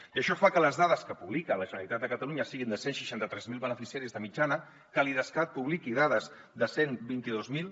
i això fa que les dades que publica la generalitat de catalunya siguin de cent i seixanta tres mil beneficiaris de mitjana que l’idescat publiqui dades de cent i vint dos mil